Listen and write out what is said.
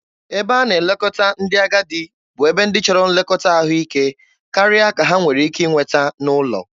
Ebe a na-elekọta ndị agadi bụ ebe ndị chọrọ nlekọta ahụike karịa ka ha nwere ike inweta n'ụlọ.